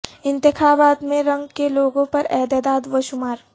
انتخابات میں رنگ کے لوگوں پر اعداد و شمار